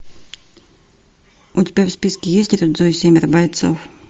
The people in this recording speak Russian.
у тебя в списке есть рюдзо и семеро бойцов